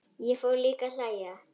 Ég fór líka að hlæja.